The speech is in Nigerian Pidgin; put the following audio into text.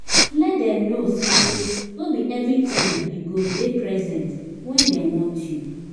let dem no sey no bi evritime yu go dey present wen dem want yu